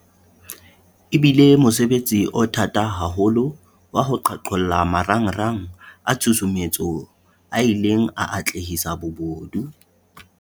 E bile mosebetsi o thata haholo wa ho qhaqholla marangrang a tshusumetso a ileng a atlehisa bobodu.